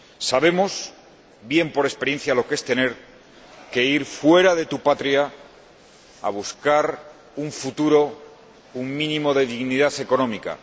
Sabemos bien, por experiencia, lo que es tener que ir fuera de tu patria a buscar un futuro, un mínimo de dignidad económica.